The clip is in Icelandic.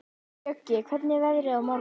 Bjöggi, hvernig er veðrið á morgun?